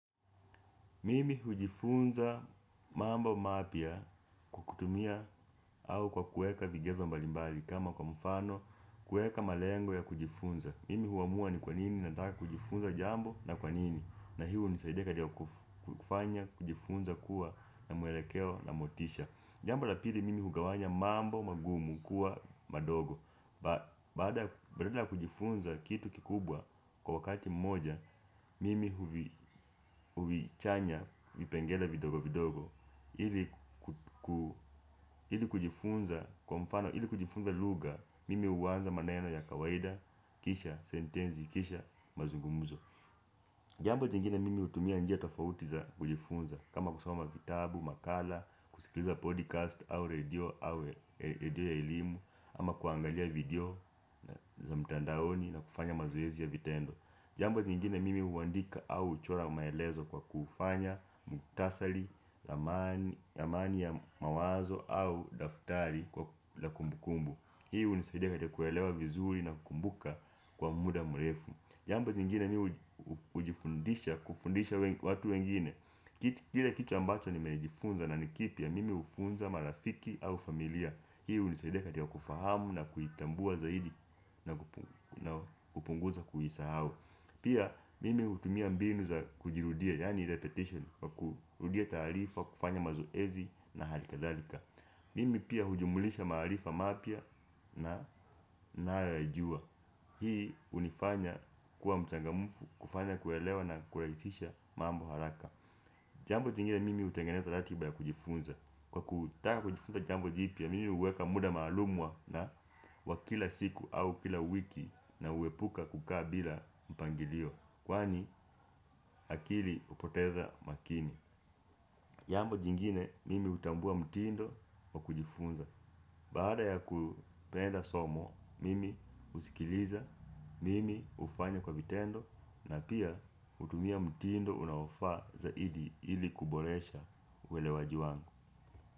Mimi hujifunza mambo mapya kwa kutumia au kwa kuweka vigezo mbalimbali kama kwa mfano kuweka malengo ya kujifunza. Mimi huamua ni kwanini nataka kujifunza jambo na kwanini na iyo hunisaidia katika kufanya kujifunza kuwa na mwelekeo na motisha. Jambo la pili mimi hugawanya mambo magumu kuwa madogo badala ya kujifunza kitu kikubwa kwa wakati mmoja mimi huvichanya vipengele vidogo vidogo ili ku ili kujifunza lugha, mimi huanza maneno ya kawaida, kisha sentensi, kisha mazungumzo jambo jengine mimi hutumia njia tofauti za kujifunza kama kusoma vitabu, makala, kusikiliza podcast au radio ya elimu, ama kuangalia video za mtandaoni na kufanya mazoezi ya vitendo. Jambo jingine mimi huandika au uchora maelezo kwa kufanya muktasali, lamani ya mawazo au daftari la kumbukumbu. Hii hunisaidia katika kuelewa vizuri na kukumbuka kwa muda mrefu jambo jingine mimi hujifundisha kufundisha watu wengine. Kile kitu ambacho nimejifunza na ni kipya, mimi hufunza marafiki au familia. Hii hunisaidia katika kufahamu na kuitambua zaidi na kupunguza kuisahau. Pia mimi hutumia mbinu za kujirudia, yani repetition kwa kurudia taarifa, kufanya mazoezi na halikadhalika mimi pia hujumlisha maarifa mapya nayoyajua hii hunifanya kuwa mchangamfu, kufanya kuelewa na kurahisisha mambo haraka jambo jingine, mimi hutenganeza ratiba ya kujifunza. Kwa kutaka kujifunza jambo jipya, mimi huweka muda maalum wa na wa kila siku au kila wiki na huepuka kukaa bila mpangilio. Kwani akili hupoteza umakini jambo jingine, mimi hutambua mtindo wa kujifunza baada ya kupenda somo, mimi usikiliza, mimi hufanya kwa vitendo na pia hutumia mtindo unaofaa zaidi ili kuboresha uelewaji wangu.